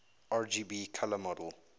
rgb color model